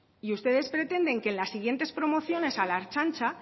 y ustedes pretenden que en las siguientes promociones a la ertzaintza